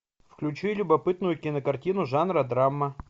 включи любопытную кинокартину жанра драма